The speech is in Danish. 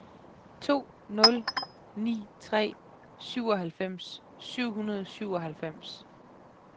to nul ni tre syvoghalvfems syv hundrede og syvoghalvfems